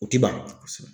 U ti ban